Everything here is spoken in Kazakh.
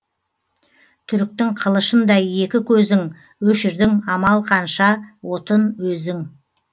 түріктің қылышындай екі көзің өшірдің амал қанша отын өзің